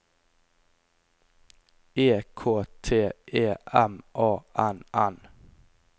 E K T E M A N N